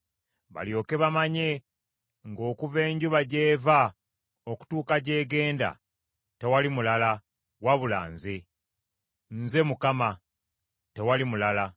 balyoke bamanye nga okuva enjuba gy’eva okutuuka gyegenda tewali mulala wabula nze. Nze Mukama , tewali mulala.